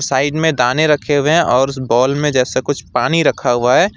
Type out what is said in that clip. Side में दाने रखे हुए है और उस बॉल में जैसे कुछ पानी रखा हुआ है।